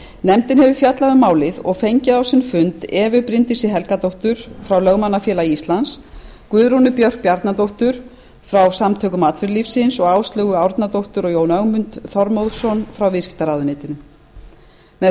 fjallað um málið og fengið á sinn fund evu bryndísi helgadóttur frá lögmannafélagi íslands guðrúnu björk bjarnadóttur frá samtökum atvinnulífsins og áslaugu árnadóttur og jón ögmund þormóðsson frá viðskiptaráðuneyti með